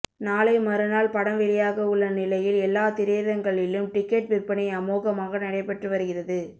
நாளை மறுநாள் படம் வெளியாக உள்ள நிலையில் எல்லா திரையரங்களிலும் டிக்கெட் விற்பனை அமோகமாக நடைபெற்று வருகிறது